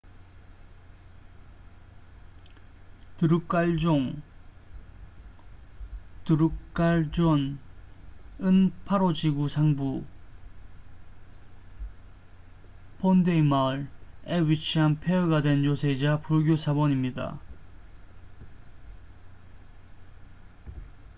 드룩갈종drukgyal dzong은 파로 지구 상부phondey 마을에 위치한 폐허가 된 요새이자 불교 사원입니다